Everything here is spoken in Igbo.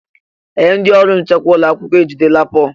Ee! Ndị ọrụ nchekwa ụlọ akwụkwọ ejidela Pọl.